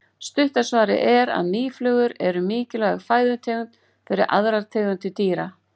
stutta svarið er að mýflugur eru mikilvæg fæðutegund fyrir aðrar tegundir dýra